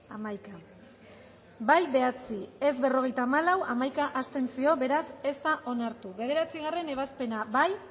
hamalau eman dugu bozka bederatzi boto aldekoa berrogeita hamalau contra hamaika abstentzio beraz ez da onartu bederatzigarrena ebazpena bozkatu